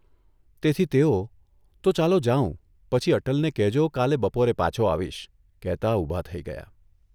તેથી તેઓ ' તો ચાલો જાઉં પછી અટલને કહેજો કાલે બપોરે પાછો આવીશ 'કહેતા ઊભા થઇ ગયા.